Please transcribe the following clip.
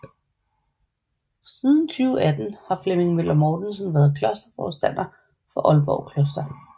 Siden 2018 har Flemming Møller Mortensen været klosterforstander for Aalborg Kloster